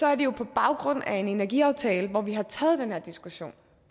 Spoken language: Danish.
er det jo på baggrund af en energiaftale hvor vi har taget den her diskussion